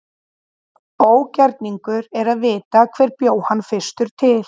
Ógerningur er að vita hver bjó hana fyrstur til.